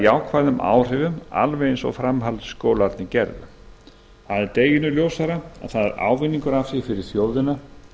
jákvæðum áhrifum alveg eins og framhaldsskólarnir gerðu það er deginum ljósara að það er ávinningur fyrir þjóðina